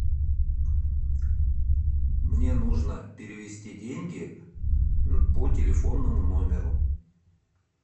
мне нужно перевести деньги по телефонному номеру